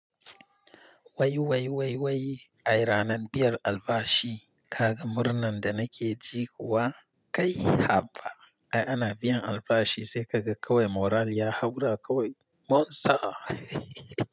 Wai wai wai wai, ai ranan biyar albashi. Ka ga murnan da nake ji kuwa? Kai haba. Ai ana biyan albashi sai ka ga kawai moral ya haura kawai. Mon sa ehehehe.